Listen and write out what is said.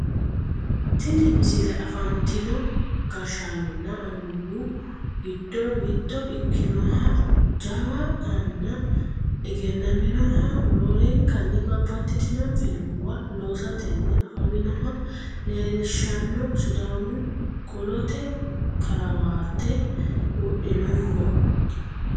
tini misile afantino gashshanonna annuwu giddo mitto ikkinoha jawa anna egennaminoha roorenkanni babbaxxitino filmuwa loosatenni afaminoha leellishshanno sidaamu qolota karawate wodhinoho